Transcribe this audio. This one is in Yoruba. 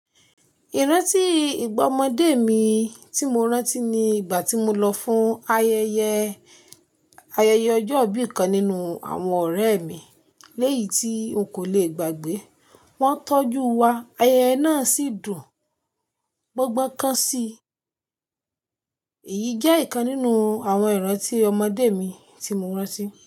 Ìrántí ìgbà ọmọdé mi ti mo rántí ni ìgbà tí mo lọ fún ayẹyẹ, ayẹyẹ ọjọ́ ìbí kan nínú àwọn ọ̀rẹ́ mi. Léyìí tí o kò le gbàgbé. Wọ́n tọ́jú wa, ayẹyẹ náà sì dùn. Gbangba nkán si. Èyí jẹ́ ìkan nínú àwọn ìrántí ọmọdé mi tí mo rántí.